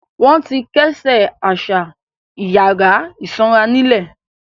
Wọn ti kẹ́sẹ̀ àṣà ìyàrá ìsanra nílẹ̀.